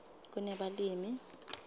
kunebalimi